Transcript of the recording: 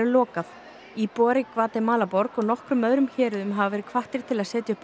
lokað íbúar í Gvatemalaborg og nokkrum öðrum héruðum hafa verið hvattir til að setja upp